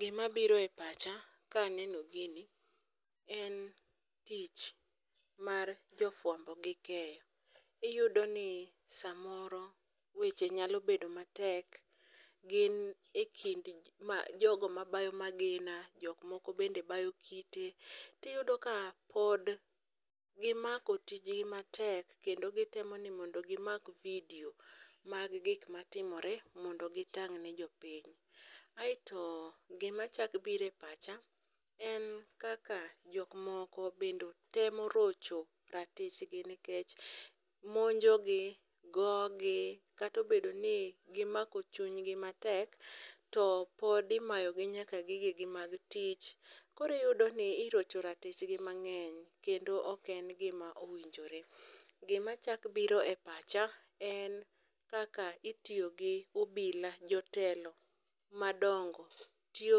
Gima biro e pach ka aneno gini en tich mar jo fwambo gi keyo. Iyudo ni samoro weche nyalo bedo matek. Gin akind jogo mabayo magina, jok moko bende bayo kite tiyudo ka pod gimako tijgi matek kendo gitemo ni mondo gimak vidio mag gik matimore mondo gitang' ne jopiny. Aeto gima chak biro e pacha en kaka jok moko bende temo rocho ratich gi nikech monjo gi, go gi katobedo ni gimako chuny gi matek to pod imayo gi nyaka gige gi mag tich. Koro iyudo ni irocho ratich gi mang'eny kendo oken gima owinjore. Gima chak biro e pacha en kaka itiyo gi obila jotelo madongo tiyo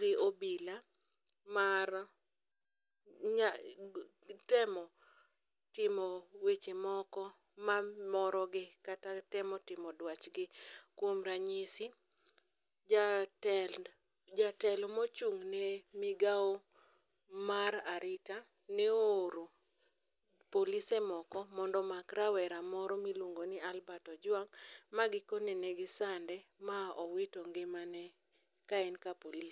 gi obila mar temo timo weche moko mamoro gi kata temo timo dwach gi. Kuom ranyisi jatelo mochung' ne migaw mar arita ne o oro polise moko mondo omak rawera moro miluongo ni Albert Ojwang' ma giko ne negi sane ma owito ngimane ka en ka polis.